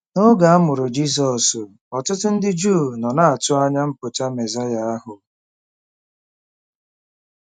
N’oge a mụrụ Jizọs, ọtụtụ ndị Juu nọ na-atụ anya mpụta Mesaya ahụ.